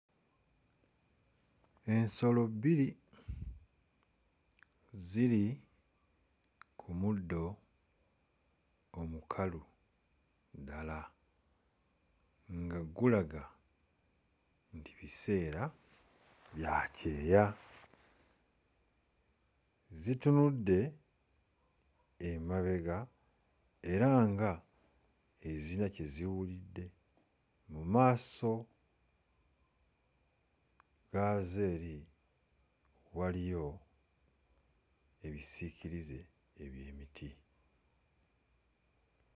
Ensolo bbiri ziri ku muddo omukalu ddala nga gulaga nti biseera bya kyeya. Zitunudde emabega era nga eziyina kye ziwulidde. Mu maaso gaazo eri waliyo ebisiikirize eby'emiti.